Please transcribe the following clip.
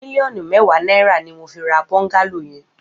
Miliọnú mèwá nàirá ni mó fi rà bọngàló yèn